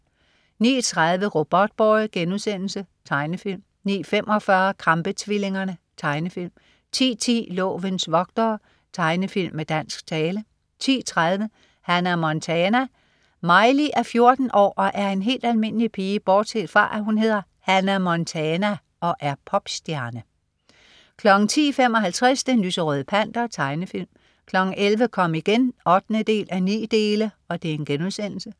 09.30 Robotboy.* Tegnefilm 09.45 Krampe-tvillingerne. Tegnefilm 10.10 Lovens vogtere. Tegnefilm med dansk tale 10.30 Hannah Montana. Miley er 14 år og en helt almindelig pige bortset fra, når hun hedder Hannah Montana og er popstjerne 10.55 Den lyserøde Panter. Tegnefilm 11.00 Kom igen 8:9*